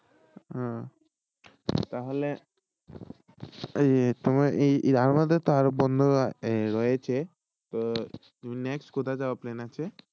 উম তাহলে এই এই আমাদের তো বন্ধুরা আরও রয়েছে তো next কোথায় যাওয়ার plan আছে